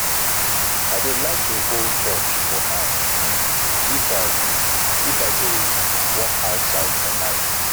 i dey like to hold torch for hand um if i um if i dey walk outside for night